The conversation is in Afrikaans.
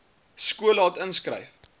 skool laat inskryf